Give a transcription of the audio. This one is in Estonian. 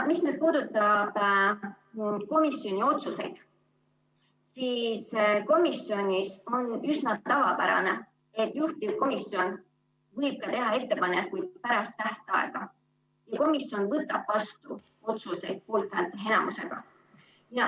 Mis nüüd puudutab komisjoni otsuseid, siis komisjonis on üsna tavapärane, et juhtivkomisjon võib teha ettepanekuid ka pärast tähtaega ja komisjon võtab vastu otsuseid poolthäälte enamusega.